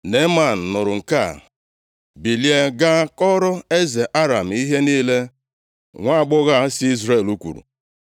Neeman nụrụ nke a, bilie gaa kọọrọ eze Aram ihe niile nwaagbọghọ a si Izrel kwuru.